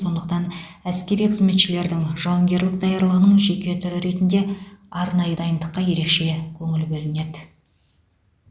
сондықтан әскери қызметшілердің жауынгерлік даярлығының жеке түрі ретінде арнайы дайындыққа ерекше көңіл бөлінеді